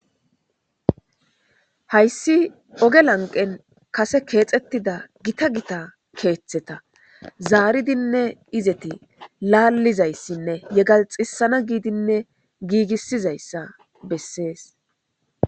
Haysi oge lanqeni Kase kexetid gitta gitta ketheta zaaridinne izetape laalizaysinne yegalixisanna giidinne giigisizaysa besesi.